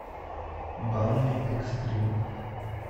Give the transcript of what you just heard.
банный экстрим